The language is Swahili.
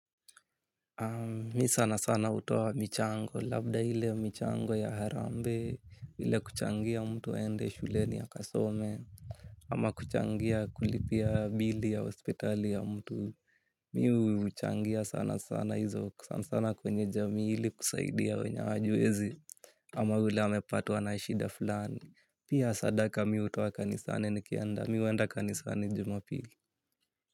Mi sana sana hutoa michango, labda ile michango ya harambe, ile kuchangia mtu aende shuleni akasome, ama kuchangia kulipia bili ya hospitali ya mtu, mi huchangia sana sana hizo, sana sana kwenye jamii ili kusaidia wenye hawajiwezi, ama ile amepatwa na shida fulani, pia sadaka mi hutoa kanisani nikienda, mi huenda kanisani jumapili.